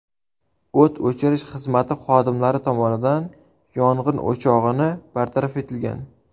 O‘t o‘chirish xizmati xodimlari tomonidan yong‘in o‘chog‘ini bartaraf etilgan.